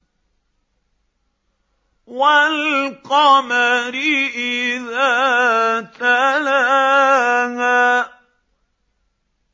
وَالْقَمَرِ إِذَا تَلَاهَا